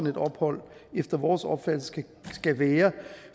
et ophold efter vores opfattelse skal være